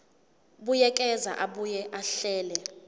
buyekeza abuye ahlele